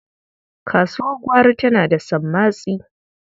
Kasuwar gwari tana da sammatsi.